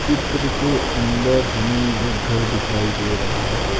चित्रके अंदर हमे एक घर दिखाई दे रहा है।